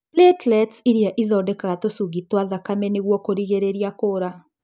Platelets iria ĩthondekaga tũcungi twa thakame nĩguo kũrigĩrĩria kuura.